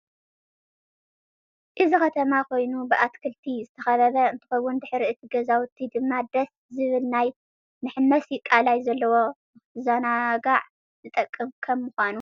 እዚ ከተማ ኮይኑ ብአትክሊቲ ዝተከበበ እንትከውን ደሕሪ እቲ ገዛውቲ ድማ ደሰ ዝብል ናይ መሕመሲ ቃላይ ዘለዎ ንክትዛናጋዕ ዝጠቅም ከም ምዃኑ።